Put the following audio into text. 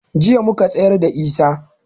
Jiya muka tsayarda da Isah